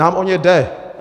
Nám o ně jde!